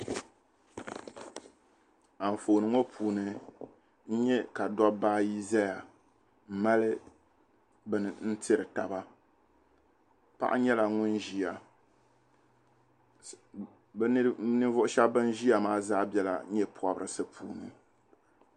anfooni ŋɔ puuni n-nya ka dabba ayi zaya m-mali bini n-tiri taba paɣa nyɛla ŋun ʒiya ninvuɣ' shɛba ban ʒiya maa zaa bela nye' pɔbirisi puuni.